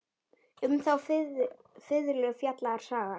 Um þá fiðlu fjallar sagan.